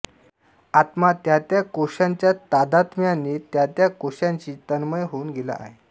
आत्मा त्या त्या कोशाच्या तादात्म्यानें त्या त्या कोशाशीं तन्मय होऊन गेला आहे